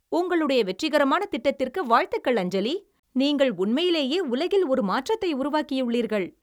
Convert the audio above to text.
உங்களுடைய வெற்றிகரமான திட்டத்திற்கு வாழ்த்துகள், அஞ்சலி, நீங்கள் உண்மையிலேயே உலகில் ஒரு மாற்றத்தை உருவாக்கியுள்ளீர்கள்.